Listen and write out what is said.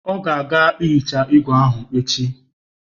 Ọ ga-aga hichaa igwe ahụ echi.